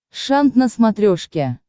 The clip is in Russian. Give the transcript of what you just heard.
шант на смотрешке